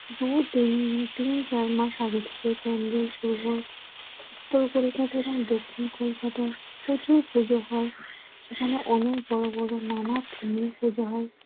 দু-তিন, তিন-চার মাস আগে থেকে প্যান্ডেল শুরু হয়। উত্তর কলকাতা এবং দক্ষিণ কলকাতা প্রচুর পুজো হয়। এখানে অনেক বড় বড় নানা theme এ পূজা হয়।